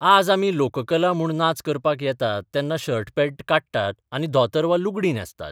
आज आमी लोककला म्हूण नाच करपाक येतात तेन्ना शर्ट पँट काडटात आनी धोतर वा लुगडीं न्हेसतात.